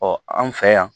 an fɛ yan